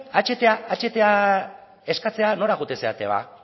ahta eskatzea eskatzera nora joaten zarete ba